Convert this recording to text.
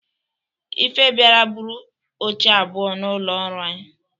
Ife biara buru oche abụọ n'ụlọ ọrụ anyi